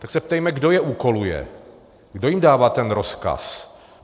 Tak se ptejme, kdo je úkoluje, kdo jim dává ten rozkaz.